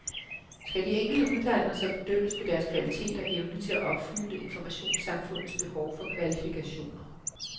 Skal de enkelte uddannelser bedømmes på deres kvalitet og evne til at opfylde informationssamfundets behov for kvalifikationer?